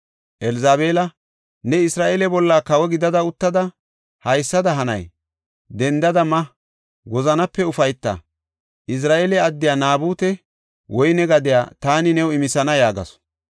Elzabeela, “Ne Isra7eele bolla kawo gida uttada haysada hanay? Dendada ma! Wozanape ufayta! Izira7eele addiya Naabute woyne gadiya taani new imisana” yaagasu.